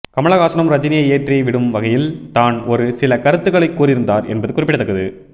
கமலஹாசனும் ரஜினியை ஏற்றி விடும் வகையில் தான் ஒரு சில கருத்துக்களை கூறியிருந்தார் என்பது குறிப்பிடத்தக்கது